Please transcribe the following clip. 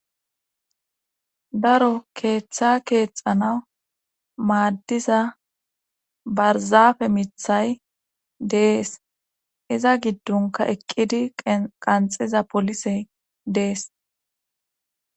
daro keeththa keexanaw maaddiza barzafe mithay dees iza giddonka eqqidi qanxiza polisey dees